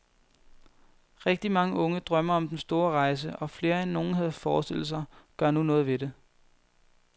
Rigtig mange unge drømmer om den store rejse, og flere, end nogen havde forestillet sig, gør nu noget ved det.